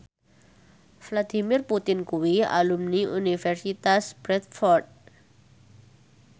Vladimir Putin kuwi alumni Universitas Bradford